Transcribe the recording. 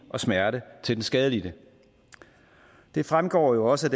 og smerte til den skadelidte det fremgår jo også